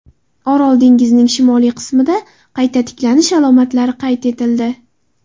Orol dengizining shimoliy qismida qayta tiklanish alomatlari qayd etildi.